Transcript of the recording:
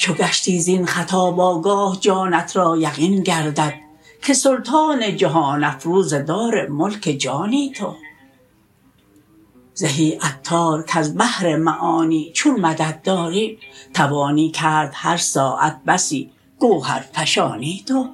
چو گشتی زین خطاب آگاه جانت را یقین گردد که سلطان جهان افروز دارالملک جانی تو زهی عطار کز بحر معانی چون مدد داری توانی کرد هر ساعت بسی گوهرفشانی تو